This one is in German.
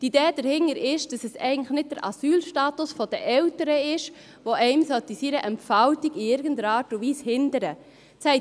Die Idee dahinter ist, dass der Asylstatus der Eltern einen in seiner Entfaltung in keiner Art und Weise hindern darf.